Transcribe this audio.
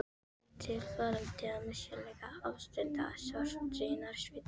Eftir tilfallandi og misjafnlega upplyftandi störf í nærsveitum